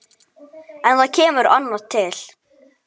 En það kemur annað til.